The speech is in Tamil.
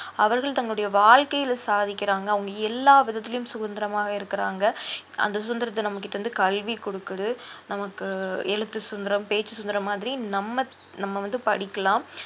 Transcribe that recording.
அவர்கள் தங்களுடைய வாழ்க்கையில சாதிக்கிறாங்க அவுங்க எல்லா விதத்திலயும் சுதந்திரமாக இருக்கிறாங்க அந்த சுதந்திரத்தை நம்ம கிட்ட இருந்து கல்வி குடுக்குது நமக்கு எழுத்து சுதந்திரம் பேச்சு சுதந்திரம் மாதிரி நம்ம நம்ம வந்து படிக்கலாம்